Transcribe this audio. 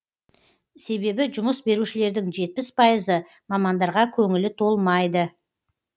себебі жұмыс берушілердің жетпіс пайызы мамандарға көңілі толмайды